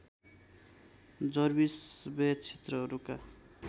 Jarvis Bay क्षेत्रहरूका